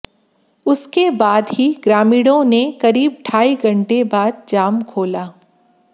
उसके बाद ही ग्रामीणों ने करीब ढ़ाई घंटे बाद जाम खोला